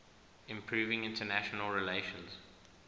improving international relations